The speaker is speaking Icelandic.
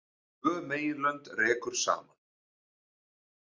Tvö meginlönd rekur saman